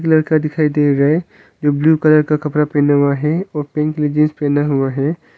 लड़का दिखाई दिए गए जो ब्लू कलर का कपड़ा पहना हुआ है और पिंक कलर का जींस पहना हुआ है।